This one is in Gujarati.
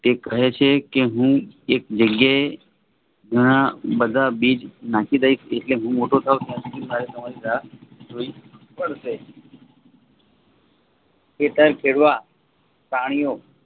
તે કહે છે કે હું એક જગ્યએ ધાણા બધા બીજ નાખી દઈશ એટલે હું મોટો થવ ત્યાં સુધી મારે તમારી રાહ જોવી પડશે ખેતર ખેડવા પ્રાણીઓ